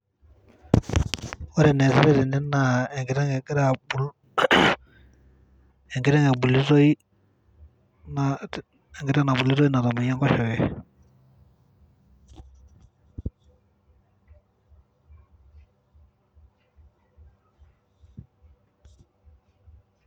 Ore eneesitae tene naa enkiteng egirae abul ,enkiteng ebulutoi natamoyia enkoshoke .